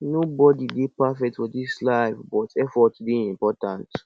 nobody dey perfect for dis life but effort dey important